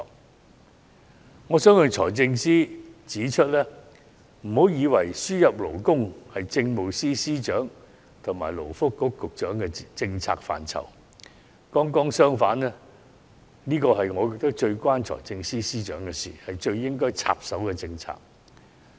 因此，我想向財政司司長指出，請不要以為輸入勞工是政務司司長和勞工及福利局局長的政策範疇；剛剛相反，我認為這是與財政司司長最為相關，是他最應該插手的政策。